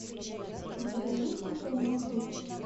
у тебя есть крутой маршрут